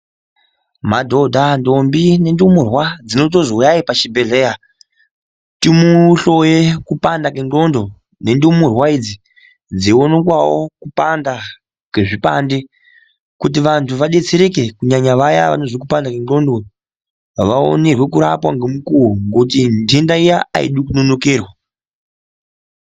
Madhodha, ndombi nendumurwa dzinondonzi huyai pachibhehlera timuhloye kupanda kwendxondo nendumurwa idzi dzeiwonikwawo kupanda kwezvipande kuti vantu vadetsereke kunyanya vaya vanozwa kupanda kwendxondo vaonerwe kurapwa ngemukuwo ngekuti nhenda iya aidi kunonokerwa